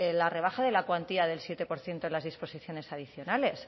la rebaja de la cuantía del siete por ciento en las disposiciones adicionales